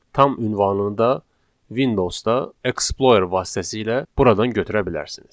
Tam ünvanı da Windows-da Explorer vasitəsilə buradan götürə bilərsiniz.